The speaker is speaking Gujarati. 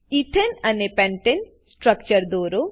એથને અને પેન્ટને સ્ટ્રક્ચર દરો